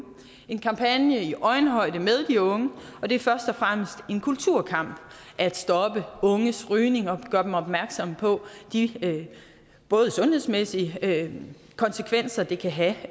en kampagne i øjenhøjde med de unge det er først og fremmest en kulturkamp at stoppe unges rygning og gøre dem opmærksomme på de sundhedsmæssige konsekvenser det kan have